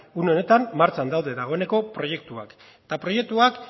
une honetan martxan daude dagoeneko proiektuak eta proiektuak